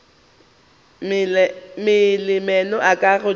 mela meno a ka godimo